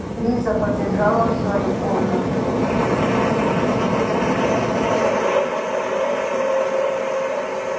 лиза побежала в свою комнату